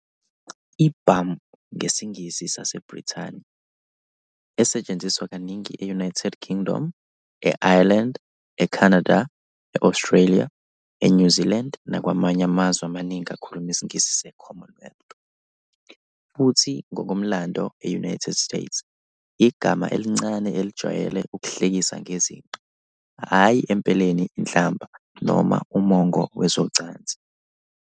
I-Bum. ngesiNgisi saseBrithani, esetshenziswa kaningi e-United Kingdom, e-Ireland, eCanada, e-Australia, eNew Zealand nakwamanye amazwe amaningi akhuluma isiNgisi eCommonwealth, futhi ngokomlando e-United States, yigama elincane elijwayele ukuhlekisa ngezinqe, hhayi empeleni inhlamba noma umongo wezocansi.